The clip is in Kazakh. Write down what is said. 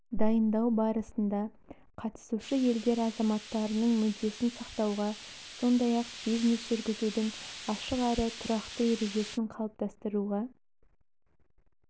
дайындау барысында қатысушы елдер азаматтарының мүддесін сақтауға сондай-ақ бизнес жүргізудің ашық әрі тұрақты ережесін қалыптастыруға